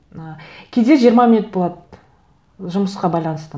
ы кейде жиырма минут болады жұмысқа байланысты